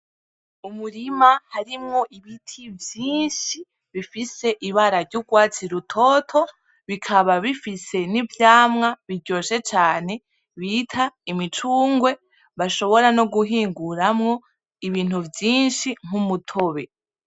Umurima harimwo ibiti vyinshi bifise ibara ry'urwatsi rutoto bikaba bifise n'ivyamwa biryoshe cane bita imicungwe bashobora no guhinguramwo ibintu vyinshi nk'umutobe.